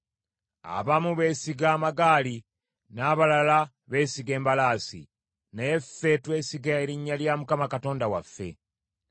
Abamu beesiga amagaali, n’abalala beesiga embalaasi, naye ffe twesiga erinnya lya Mukama Katonda waffe.